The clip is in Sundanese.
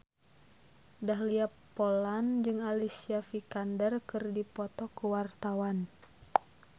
Dahlia Poland jeung Alicia Vikander keur dipoto ku wartawan